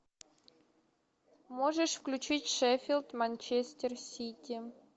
можешь включить шеффилд манчестер сити